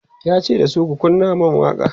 yace dasu "ku kunna man waƙa!"